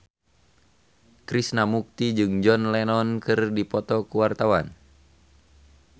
Krishna Mukti jeung John Lennon keur dipoto ku wartawan